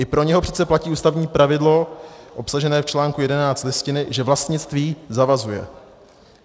I pro něho přece platí ústavní pravidlo obsažené v článku 11 Listiny, že vlastnictví zavazuje.